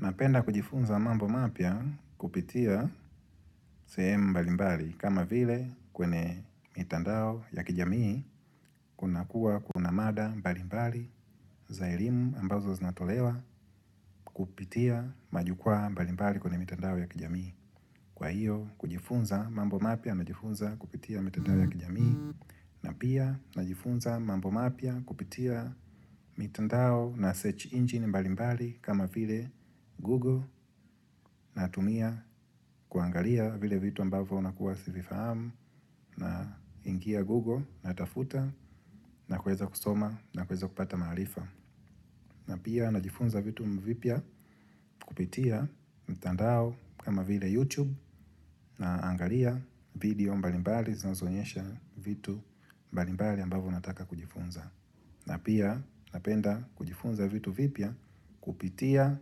Napenda kujifunza mambo mapya kupitia sehemu mbalimbali kama vile kwenye mitandao ya kijamii kunakuwa kuna mada mbalimbali za elimu ambazo zinatolewa kupitia majukwaa mbalimbali kwenye mitandao ya kijamii. Kwa hiyo, kujifunza mambo mapya, najifunza kupitia mitandao ya kijamii, na pia najifunza mambo mapya kupitia mitandao na search engine mbalimbali kama vile Google, natumia kuangalia vile vitu ambavo nakuwa sivifahamu, naingia Google, natafuta, na kuweza kusoma, na kuweza kupata maarifa. Na pia najifunza vitu vipya kupitia mtandao kama vile YouTube naangalia video mbalimbali zinazoonyesha vitu mbalimbali ambavyo nataka kujifunza. Na pia napenda kujifunza vitu vipia kupitia